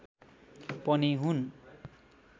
पनि हुन्